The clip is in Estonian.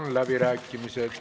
Avan läbirääkimised.